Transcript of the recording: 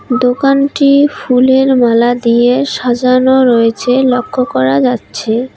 দোকানটি ফুলের মালা দিয়ে সাজানো রয়েছে লক্ষ করা যাচ্ছে।